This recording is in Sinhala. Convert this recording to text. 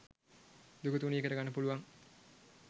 දුක තුනී කරගන්න පුළුවන්